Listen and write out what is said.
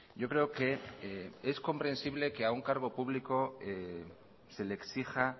yo creo que es comprensible que a un cargo público se le exija